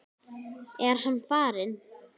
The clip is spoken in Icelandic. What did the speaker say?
Er hann farinn?